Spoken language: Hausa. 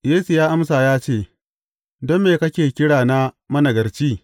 Yesu ya amsa ya ce, Don me kake kira na managarci?